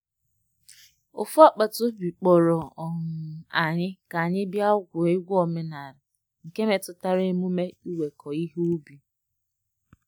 Ofu agbata obi kpọrọ um anyị ka anyị bịa gwuo egwu omenala nke metụtara emume iweko ihe ubi.